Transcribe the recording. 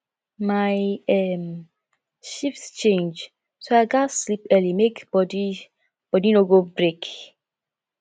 my um shift change so i gats sleep early make body body no go break